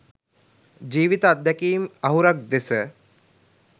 ජීවිත අත්දැකීම් අහුරක් දෙස